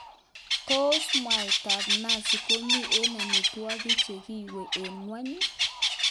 Tos mwaitab nazi komi eng amitwogik che giiwei eng ngwonyi?